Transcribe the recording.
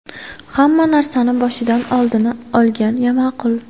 Hamma narsani boshidan oldini olgan ma’qul.